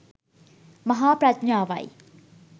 මහා ප්‍රඥාවයි.